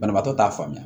Banabaatɔ t'a faamuya